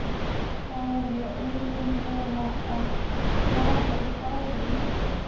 Þá varð ég eiginlega að lafa í báðum víddum.